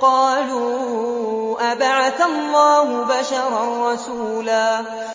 قَالُوا أَبَعَثَ اللَّهُ بَشَرًا رَّسُولًا